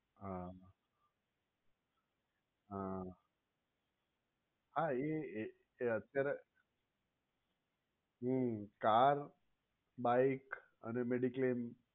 હા હા હા એ જે અત્યારે હમ car, bike અને મેડિક્લેમ